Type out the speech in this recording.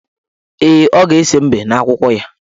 Ee, ọ ga-ese mbe n' akwụkwọ ya.